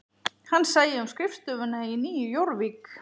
Hann sæi um skrifstofuna í Nýju Jórvík